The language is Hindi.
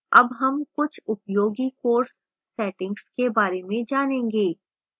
अब हम कुछ उपयोगी course settings के बारे में जानेंगे